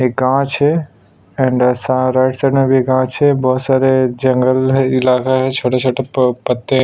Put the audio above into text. ये गाछ है एंड स राइट साइड में भी गाछ है बोहोत सारे जंगल है इलाका है छोटे - छोटे प पत्ते --